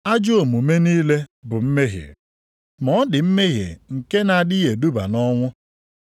Ajọ omume niile bụ mmehie, ma ọ dị mmehie nke na-adịghị eduba nʼọnwụ.